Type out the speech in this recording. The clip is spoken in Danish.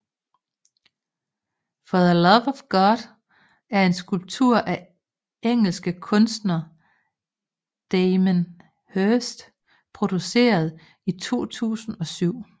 For the Love of God er en skulptur af engelske kunstner Damien Hirst produceret i 2007